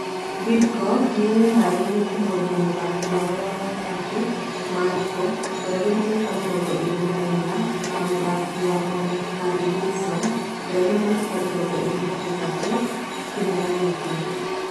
Bidco nĩyĩharĩirie kũmwendia mũthaki wao wa gatagatĩ Mariko ,ũrĩa wina mĩaka mĩrongo ĩrĩ na ina na mũthaki wa mwena Harry wilson ũrĩa wĩna mĩaka mĩrongo ĩrĩ na ĩtatũ kĩmera gĩkĩ